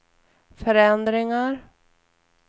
förändringar